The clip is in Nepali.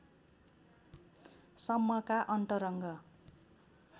सम्मका अन्तरङ्ग